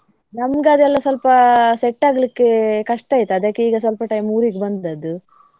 ನಮ್ಗ ಅದೆಲ್ಲ ಸ್ವಲ್ಪ set ಆಗ್ಲಿಕ್ಕೆ ಕಷ್ಟ ಆಯ್ತು. ಅದಕ್ಕೆ ಈಗ ಸ್ವಲ್ಪ time ಊರಿಗೆ ಬಂದದ್ದು.